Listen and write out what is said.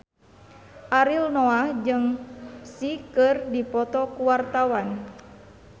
Ariel Noah jeung Psy keur dipoto ku wartawan